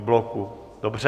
V bloku, dobře.